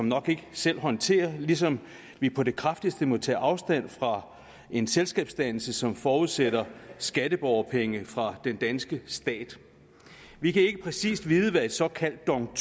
nok ikke selv håndtere ligesom vi på det kraftigste må tage afstand fra en selskabsdannelse som forudsætter skatteborgerpenge fra den danske stat vi kan ikke præcist vide hvad et såkaldt dong